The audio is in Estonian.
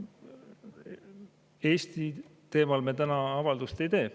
No Eesti teemal me täna avaldust ei tee.